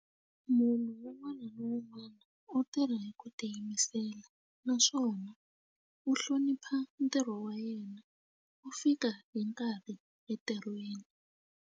Munhu un'wana na un'wana u tirha hi ku tiyimisela naswona u hlonipha ntirho wa yena u fika hi nkarhi entirhweni.